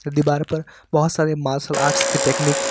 जो दिवार पर बहुत सारे मार्शल आर्टस की टेक्निक